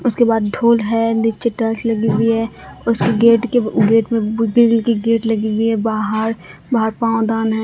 उसके बाद ढोल है नीचे टाइल्स लगी हुई है उसके गेट के गेट में ग्रिल की गेट लगी हुई है बाहर बाहर पावदान है।